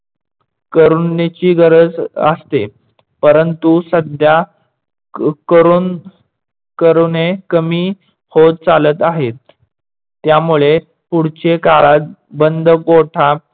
करुणीची गरज असते. परंतु सध्या करून करुने कमी होत चालत आहेत. त्यामुळे पुढचे काळात बंद गोठा